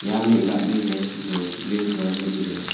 यहां मे एक आदमी है जो ग्रीन कलर मे दिख रहे हैं।